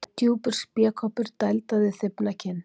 Djúpur spékoppur dældaði þybbna kinn.